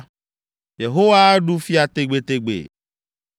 “Yehowa aɖu fia tegbetegbe!”